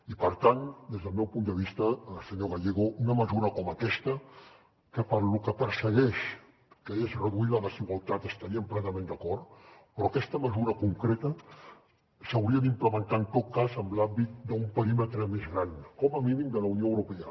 i per tant des del meu punt de vista senyor gallego una mesura com aquesta que per lo que persegueix que és reduir la desigualtat estaríem plenament d’acord però aquesta mesura concreta s’hauria d’implementar en tot cas en l’àmbit d’un perímetre més gran com a mínim de la unió europea